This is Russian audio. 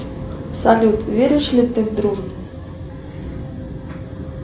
салют веришь ли ты в дружбу